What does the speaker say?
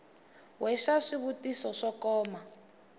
we xa swivutiso swo koma